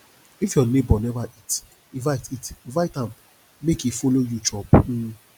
if your neighbor neva eat invite eat invite am make e follow you chop um